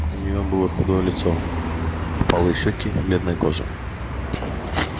у нее было худое лицо впалые щёки бледная кожа